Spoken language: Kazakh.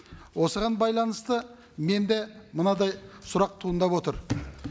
осыған байланысты менде мынадай сұрақ туындап отыр